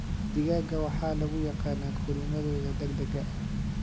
Digaagga waxaa lagu yaqaanaa korriimadooda degdega ah.